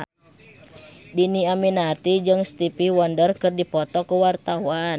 Dhini Aminarti jeung Stevie Wonder keur dipoto ku wartawan